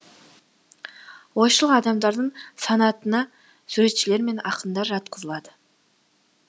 ойшыл адамдардың санатына суретшілер мен ақындар жатқызылады